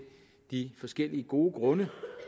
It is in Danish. de forskellige gode grunde